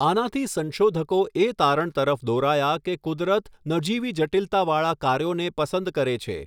આનાથી સંશોધકો એ તારણ તરફ દોરાયા કે કુદરત નજીવી જટિલતાવાળા કાર્યોને પસંદ કરે છે.